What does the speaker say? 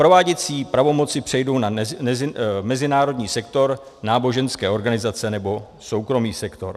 Prováděcí pravomoci přejdou na mezinárodní sektor, náboženské organizace nebo soukromý sektor.